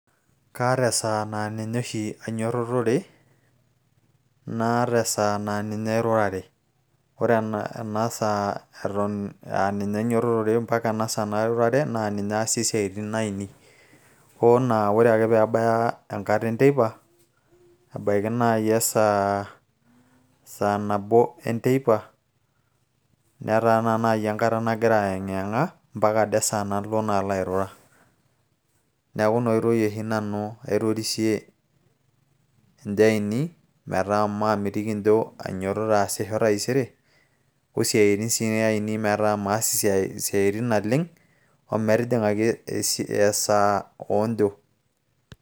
kaata esaa naa ninye oshi ainyototore naata esaa naa ninye airurare ore ena saa eton aa ninye ainyototore mpaka ena saa nairurare naa ninye aasie siaitin ainei oo naa ore ake peebaya enkata enteipa ebaiki naaji esaa saa nabo enteipa netaa naa naaji enkata nagira ayeng'iyeng'a mpaka ade esaa nalo naa airura neeku ina oitoi oshi nanu aitorisie injo ainei metaa maamitiki injo ainyiototo aasisho taisere osiaitin sii ainei metaa maas isiatin naleng o metijing'aki esaa oonjo.